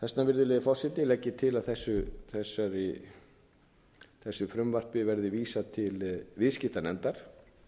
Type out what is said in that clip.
virðulegi forseti legg ég til að þessu frumvarpi verði vísað til viðskiptanefndar